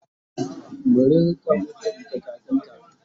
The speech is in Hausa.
mu rinka mutunta kafinta!